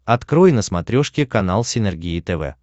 открой на смотрешке канал синергия тв